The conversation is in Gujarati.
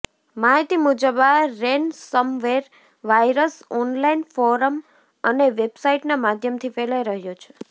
માહિતી મુજબ આ રેનસમવેર વાયરસ ઓનલાઇન ફોરમ અને વેબસાઇટના માધ્યમથી ફેલાઈ રહ્યો છે